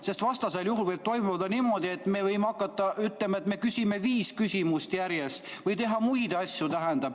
Sest vastasel juhul võib juhtuda niimoodi, et me võime hakata ütlema, et me küsime viis küsimust järjest, või teha muid asju.